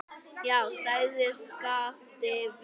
Já, sagði Skapti veikt.